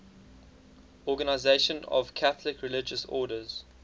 organisation of catholic religious orders